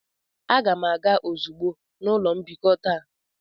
Aga m aga ozugbo na ụlọ mbikọ taa.